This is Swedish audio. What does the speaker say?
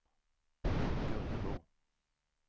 Gunnebo